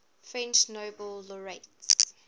french nobel laureates